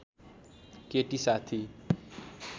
केटी साथी